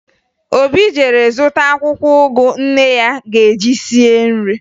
Obi jere zụta akwụkwọ ụgụ nne ya ga-eji sie nri